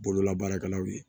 Bololabaarakɛlaw ye